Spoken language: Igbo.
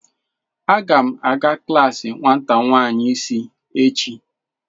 Aga m aga klaasi nwata nwanyị isi echi.